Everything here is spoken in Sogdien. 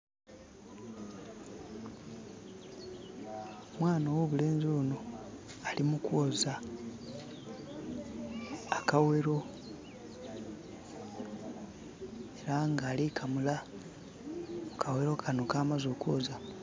Omwana owo'bulenzi Ono alimukwooza akawero eranga alikamula akawero Kano ka'maze okwooza.